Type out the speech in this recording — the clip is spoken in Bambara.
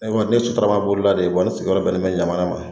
Ne kɔni ne ye sotarama bolila de ye wa ne sigiyɔrɔ bɛnnen bɛ ɲamana ma